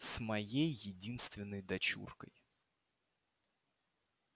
с моей единственной дочуркой